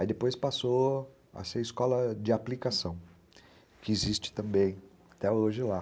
Aí depois passou a ser Escola de Aplicação, que existe também até hoje lá.